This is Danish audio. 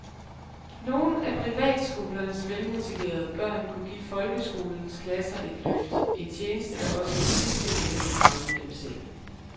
Nogle af privatskolernes velmotiverede børn kunne give folkeskolens klasser et løft, en tjeneste der også i sidste ende vil gavne dem selv.